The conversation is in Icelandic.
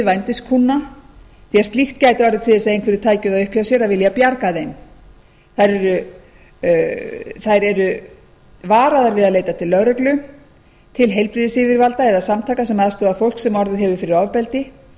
því að slíkt gæti orðið til þess að einhverjir tækju það upp hjá sér að vilja bjarga þeim þær eru varaðar við að leita til lögreglu heilbrigðisyfirvalda eða samtaka sem aðstoða fólk sem orðið hefur fyrir ofbeldi